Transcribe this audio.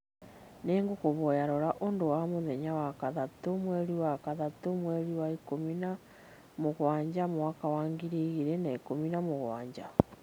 nĩ ngũkũhoya rora ũndũ wa mũthenya wa gatatũ mweri wa gatatũ mweri wa ikũmi na mũgwanja mwaka wa ngiri igĩrĩ na ikũmi na mũgwanja